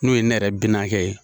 N'o ye ne yɛrɛ binakɛ ye.